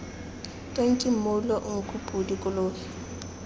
tonki mmoulo nku podi kolobe